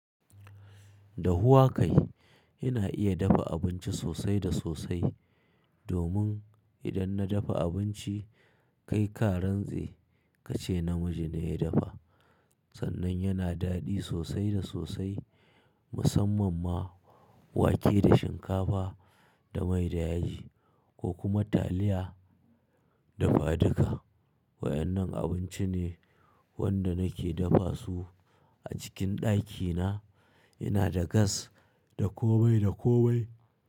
Dahuwa kai, ina iya dafa abinci sosai da sosai. Domin idan na dafa abinci kai ka rantse kace namiji ne ya dafa. Sannan yana daɗi sosai da sosai. Musamman ma wake da shinkafa da mai da yaji ko kuma taliya dafa duka. Wa'ennan abinci ne wanda nake dafa su a cikin ɗakina. Ina da gas da komai da komai.